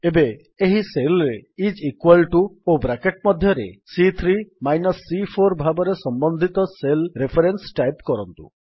ଏବେ ଏହି Cellରେ ଆଇଏସ ଇକ୍ୱାଲ୍ ଟିଓ ଓ ବ୍ରାକେଟ୍ ମଧ୍ୟରେ ସି3 ମାଇନସ୍ ସି4 ଭାବରେ ସମ୍ୱନ୍ଧିତ ସେଲ୍ ରେଫରେନ୍ସ ଟାଇପ୍ କରନ୍ତୁ